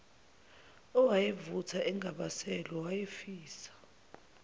owayevutha engabaselwe wayefisa